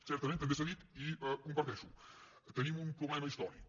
certament també s’ha dit i ho comparteixo tenim un problema històric